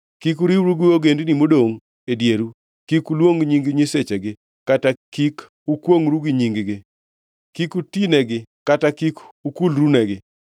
Kik uriwru gi ogendini modongʼ e dieru, kik uluong nying nyisechegi kata kik ukwongʼru gi nying-gi. Kik utinegi kata kik ukulrunegi.